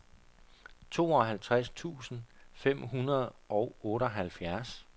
tooghalvtreds tusind fem hundrede og otteoghalvfjerds